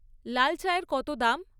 লাল চাএর কত দাম?